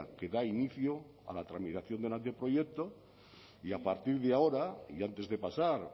que da inicio a la tramitación del anteproyecto y a partir de ahora y antes de pasar